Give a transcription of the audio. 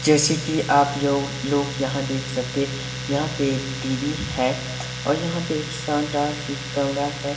जैसे कि आप लोग लोग यहां देख सकते हैं यहां पे एक टी_वी है और यहां पे एक शानदार ही कमरा है।